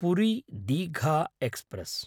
Puri Digha express